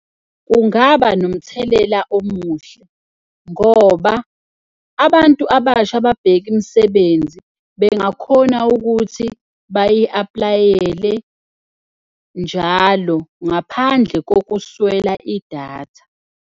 Kungaba nomthelela omuhle ngoba abantu abasha ababheka imisebenzi bengakhona ukuthi bayi-apply-ele njalo ngaphandle kokuswela idatha.